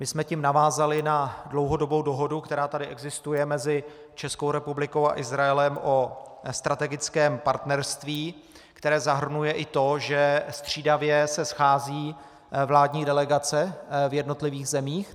My jsme tím navázali na dlouhodobou dohodu, která tady existuje mezi Českou republikou a Izraelem o strategickém partnerství, které zahrnuje i to, že střídavě se scházejí vládní delegace v jednotlivých zemích.